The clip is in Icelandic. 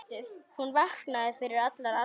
Hún vaknaði fyrir allar aldir.